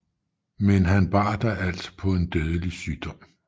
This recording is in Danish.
Men han bar da alt på en dødelig sygdom